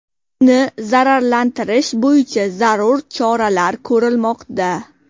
Uni zararsizlantirish bo‘yicha zarur choralar ko‘rilmoqda.